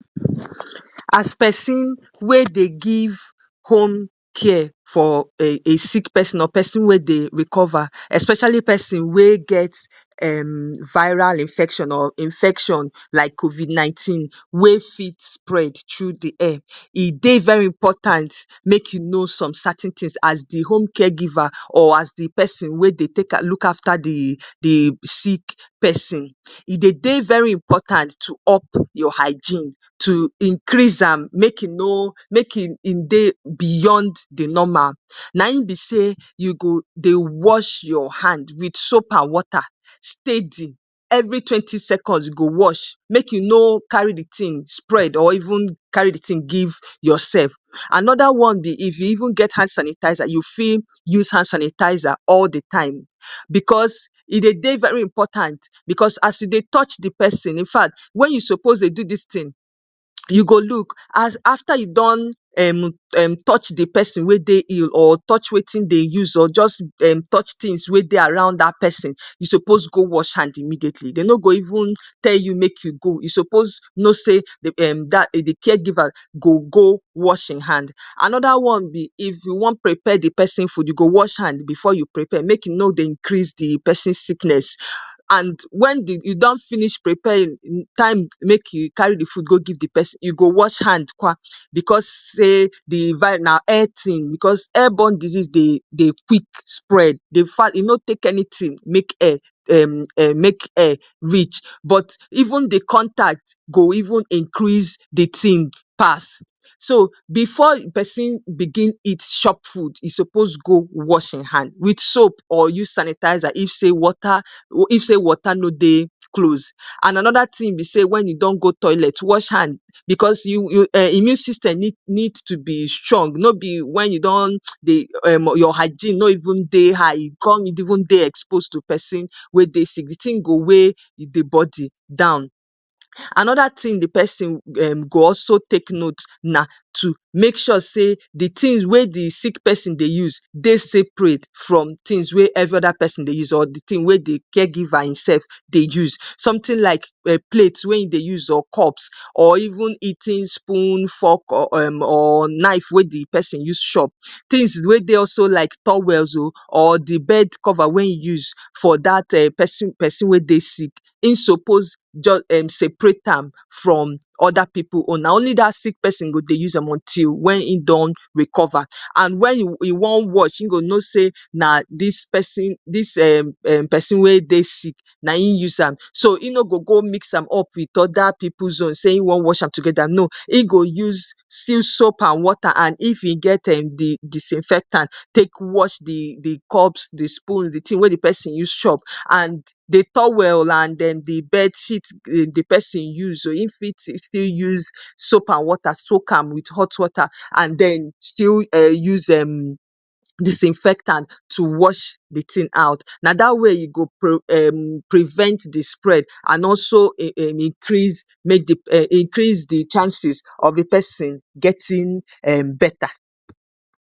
‎as pesin wey dey give home care for a a sick person or person wey dey recover especially peson wey get a viral infection o infection like covid 19 wey fit spread tru di air e dey very important make you know some cer ten tins as di homecare giver or as di persin wey dey take look afta di di sick pesin e dey dey very important to up your higen to increase am make e no make e e dey beyond de normal naim be say u go dey wash your hand wit soap and water steady every twenty seconds you go dey wash make u no carry de tin spread or give yourself anoda one be if you even get hand sanitizer u fit use hand sanitizer all de time bcos e dey de very important bcos as u dey touch de person infact wen u suppose dey do distin u go look as after u don touch de person we dey ill or touch wetin Dem use or touch tins wen dey around dat person u suppose go wash hand immediately dey no go even tell u make u go u suppose no say um um de caregiver wash Im hand. Anoda one be if u wan prepare de person food u go wash hand before you prepare make u no dey increase de pesin sickness and wen de u don finish prepare time um make u carry de food go give de person u go wash hand kwa bcos say de vi na air in bcos airborne dizes dey de quick spread infact e no take anytin make air make air reach even de contact go even increase de tin pass so before per bigin eat chop food e suppose go wash e hand with soap or use sanitizer if say water no dey close. And anoda tin be say wen u don go toilet wash hand bcos immune system need to be strong no be wen u don um um your hygiene no even dey high u come dey even dey expose to person we dey sick de tin go weigh de body down. Anoda tin de pesin go also take note na to make sure say de tin we de sick person dey use dey separate from de tins we every other pesin dey use and wen de d caregiver himself dey use sometin like plate wen in dey use or cup or even eating spoon fork or nife wen de person use chop tins we dey like towel o or de bed cover we I'm use for dat person we dey sick I'm suppose separate am from oda pipu own na only dat sick pesin go dey use am until wen I'm recover and wen e wan wash e go no say na sis sick pesin dis pesin we dey sick naim use am so in no go go mix am up wit oda pipu own wen in wan wash no in go use still soap and water if e get disinfectant take wash de cups de spoon de tin wen de person use chop and de towel and de d bedsheet wen de person use o in still fit use soap and water soap am with hot water anden still us um disinfectant to wash de tin out na da way u go prevent de spread an also increase in in increase de chances of de pesin getting um better‎as pesin wey dey give home care for a a sick person or person wey dey recover especially peson wey get a viral infection o infection like covid 19 wey fit spread tru di air e dey very important make you know some cer ten tins as di homecare giver or as di persin wey dey take look afta di di sick pesin e dey dey very important to up your higen to increase am make e no make e e dey beyond de normal naim be say u go dey wash your hand wit soap and water steady every twenty seconds you go dey wash make u no carry de tin spread or give yourself anoda one be if you even get hand sanitizer u fit use hand sanitizer all de time bcos e dey de very important bcos as u dey touch de person infact wen u suppose dey do distin u go look as after u don touch de person we dey ill or touch wetin Dem use or touch tins wen dey around dat person u suppose go wash hand immediately dey no go even tell u make u go u suppose no say um um de caregiver wash Im hand. Anoda one be if u wan prepare de person food u go wash hand before you prepare make u no dey increase de pesin sickness and wen de u don finish prepare time um make u carry de food go give de person u go wash hand kwa bcos say de vi na air in bcos airborne dizes dey de quick spread infact e no take anytin make air make air reach even de contact go even increase de tin pass so before per bigin eat chop food e suppose go wash e hand with soap or use sanitizer if say water no dey close. And anoda tin be say wen u don go toilet wash hand bcos immune system need to be strong no be wen u don um um your hygiene no even dey high u come dey even dey expose to person we dey sick de tin go weigh de body down. Anoda tin de pesin go also take note na to make sure say de tin we de sick person dey use dey separate from de tins we every other pesin dey use and wen de d caregiver himself dey use sometin like plate wen in dey use or cup or even eating spoon fork or nife wen de person use chop tins we dey like towel o or de bed cover we I'm use for dat person we dey sick I'm suppose separate am from oda pipu own na only dat sick pesin go dey use am until wen I'm recover and wen e wan wash e go no say na sis sick pesin dis pesin we dey sick naim use am so in no go go mix am up wit oda pipu own wen in wan wash no in go use still soap and water if e get disinfectant take wash de cups de spoon de tin wen de person use chop and de towel and de d bedsheet wen de person use o in still fit use soap and water soap am with hot water anden still us um disinfectant to wash de tin out na da way u go prevent de spread an also increase in in increase de chances of de pesin getting um better